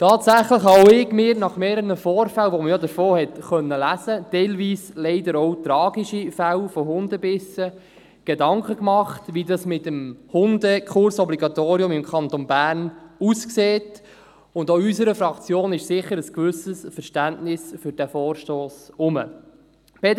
Tatsächlich habe auch ich mir nach mehreren Vorfällen – teilweise leider auch tragischen Fällen von Hundebissen –, von denen man ja hat lesen können, Gedanken gemacht, wie das mit dem Hundekursobligatorium im Kanton Bern aussieht, und auch in unserer Fraktion ist sicher ein gewisses Verständnis für diesen Vorstoss vorhanden.